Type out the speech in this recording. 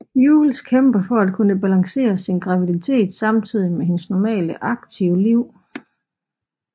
Jules kæmper for at kunne balancere sin graviditet samtidig med hendes normale aktive liv